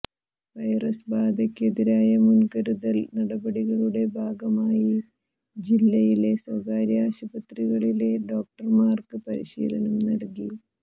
virus ബാധയ്ക്കെതിരായ മുൻകരുതൽ നടപടികളുടെ ഭാഗമായി ജില്ലയിലെ സ്വകാര്യ ആശുപത്രികളിലെ ഡോക്ടർമാർക്ക് പരിശീലനം നല്കി